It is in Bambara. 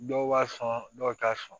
Dɔw b'a sɔn dɔw t'a sɔn